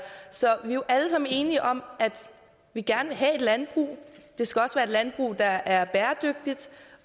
så vi er jo alle sammen enige om at vi gerne vil have et landbrug det skal også være landbrug der er bæredygtigt